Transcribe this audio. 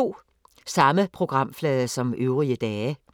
Samme programflade som øvrige dage